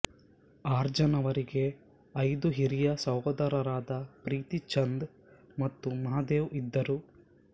ಅರ್ಜನವರಿಗೆ ಐದು ಹಿರಿಯ ಸಹೋದರರಾದ ಪ್ರೀತಿ ಚಂದ್ ಮತ್ತು ಮಹಾದೇವ್ ಇದ್ದರು